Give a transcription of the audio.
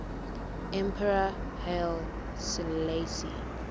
emperor haile selassie